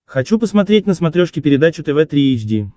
хочу посмотреть на смотрешке передачу тв три эйч ди